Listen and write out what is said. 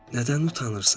Nədən utanırsan?